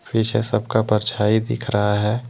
पीछे सबका परछाई दिख रहा है।